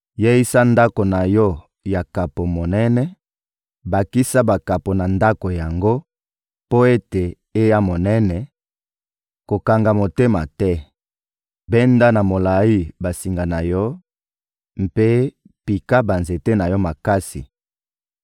Yeisa ndako na yo ya kapo monene, bakisa bakapo na ndako yango mpo ete eya monene; kokanga motema te! Benda na molayi basinga na yo mpe pika banzete na yo makasi!